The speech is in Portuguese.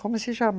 Como se chama?